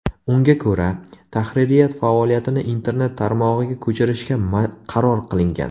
Unga ko‘ra, tahririyat faoliyatini internet tarmog‘iga ko‘chirishga qaror qilingan.